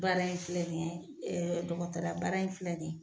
Baara in filɛ nin ye ee dɔgɔtɔrɔya baara in filɛ nin ye